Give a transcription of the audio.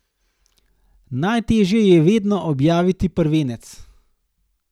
Najtežje je vedno objaviti prvenec.